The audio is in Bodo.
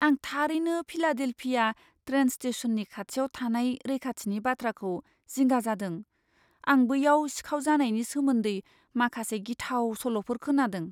आं थारैनो फिलाडेल्फिया ट्रेन स्टेशननि खाथियाव थानाय रैखाथिनि बाथ्राखौ जिंगा जादों, आं बैयाव सिखाव जानायनि सोमोन्दै माखासे गिथाव सल'फोर खोनादों।